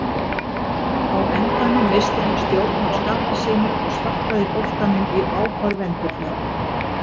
Á endanum missti hann stjórn á skapi sínu og sparkaði boltanum í áhorfendurna.